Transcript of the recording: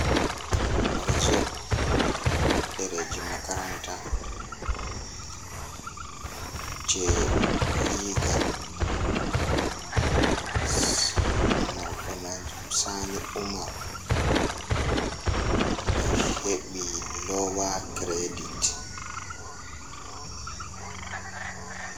Horizon ɗereji makaranta jei legal marɗo manjum sani umar o heɓi lowa credit.